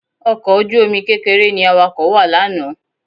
Ọkọ̀ ojú-omi kékeré ni Awakọ̀ wà lánàá